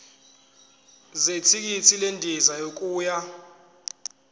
zethikithi lendiza yokuya